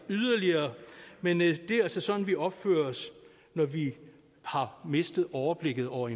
yderligere men det er altså sådan vi opfører os når vi har mistet overblikket over